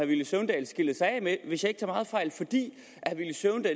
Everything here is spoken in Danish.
villy søvndal skilte sig af med fordi hvis jeg ikke tager meget fejl